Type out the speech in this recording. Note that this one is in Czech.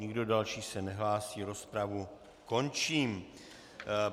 Nikdo další se nehlásí, rozpravu končím.